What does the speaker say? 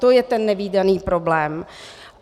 To je ten nevídaný problém.